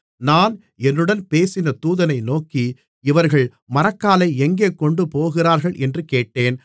நான் என்னுடன் பேசின தூதனை நோக்கி இவர்கள் மரக்காலை எங்கே கொண்டுபோகிறார்கள் என்று கேட்டேன்